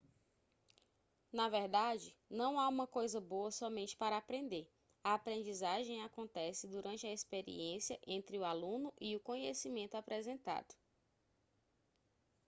na verdade não há uma coisa boa somente para aprender a aprendizagem acontece durante a experiência entre o aluno e o conhecimento apresentado